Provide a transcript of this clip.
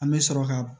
An bɛ sɔrɔ ka